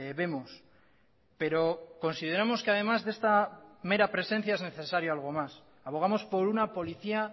vemos pero consideramos que además de esta mera presencia es necesario algo más abogamos por una policía